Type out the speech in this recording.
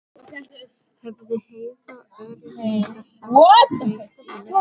hefði Heiða örugglega sagt og breitt yfir hann.